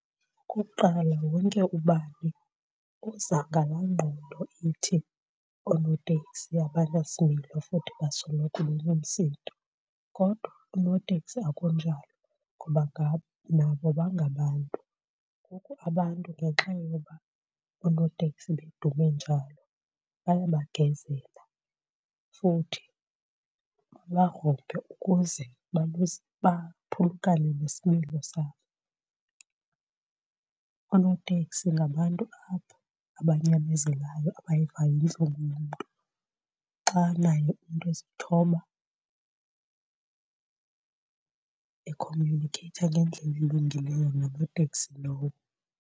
Okokuqala, wonke ubani uza ngalaa ngqondo ithi oonoteksi abanasimilo futhi basoloko benomsindo, kodwa oonoteksi akunjalo ngoba nabo bangabantu. Ngoku abantu ngenxa yoba oonoteksi bedume njalo bayabagezela futhi babagrumbe ukuze baphulukane nesimilo sakho. Oonoteksi ngabantu apho abanyamezelayo, abayivayo intlungu yomntu xa naye umntu ezithoba ekhomyunikheyitha ngendlela elungileyo nonoteksi lowo.